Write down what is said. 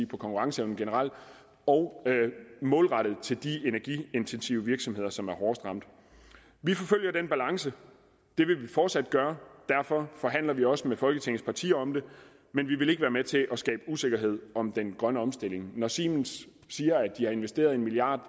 på konkurrenceevnen og målrettet til de energiintensive virksomheder som er hårdest ramt vi forfølger den balance det vil vi fortsat gøre og derfor forhandler vi også med folketingets partier om det men vi vil ikke være med til at skabe usikkerhed om den grønne omstilling når siemens siger at de har investeret en milliard